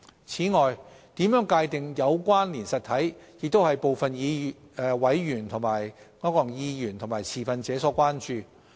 此外，如何界定"有關連實體"亦為部分委員和持份者所關注。